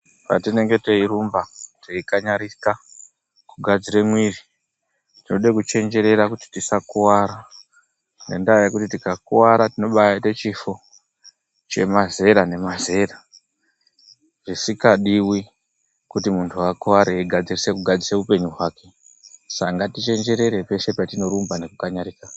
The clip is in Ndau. Patinenge teirumba teikanyarika kugadzira mwiri, tinode kuchenjerera kuti tisakuwara. Ngendaa yekuti tikakuwara tinombaaite chifo chemazera nemazera. Zvisikadiwi kuti muntu akuware eigadzirisa upenyu hwake. Saka ngatichenjere peshe patinorumba nekukanyarika.